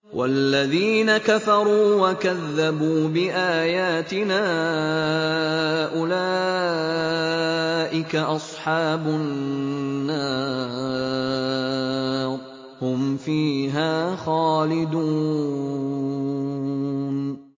وَالَّذِينَ كَفَرُوا وَكَذَّبُوا بِآيَاتِنَا أُولَٰئِكَ أَصْحَابُ النَّارِ ۖ هُمْ فِيهَا خَالِدُونَ